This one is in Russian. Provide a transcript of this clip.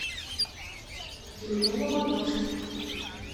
елена маношкина